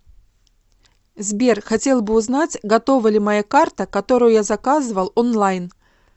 сбер хотел бы узнать готова ли моя карта которую я заказывал онлайн